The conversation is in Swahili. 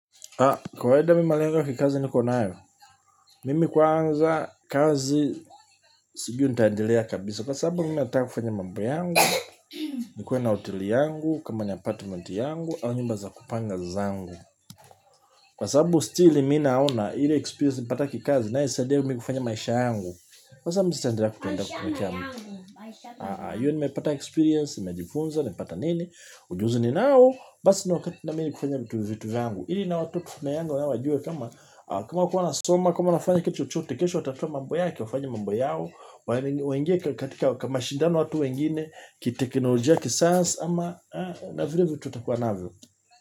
Kwa wenda mi malengo kikazi niko nayo, mimi kwanza kazi sijui nitaendelea kabisa, kwa sababu mimi nataka kufanya mambu yangu, nikuwe na hoteli yangu, kama ni apatment yangu, au nyumba za kupanga zangu, kwa sababu still mi naona ile experience nimepata kikazi na inayosaidia mimi kufanya maisha yangu, kwa sababu mi sitaendelea kupenda kuwekea mtu. Hiyo nimepata experience, nimejifunza, nimepata nini. Ujuzi ninao, basi ni wakati na mimi kufanya vitu vitu vyangu. Ili na watoto na yangu nao wajue kama kama wakua nasoma, kama wanafanya kitu chochote. Kesho watafute mambo yake, wafanye mambo yao waingie katika, mashindano watu wengine kiteknolojia, kisasa ama na vile vitu atakuwa navyo.